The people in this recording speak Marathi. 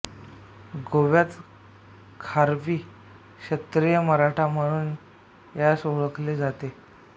गोव्यात खारवी क्षत्रिय मराठा म्हणून यास ओळखले जाते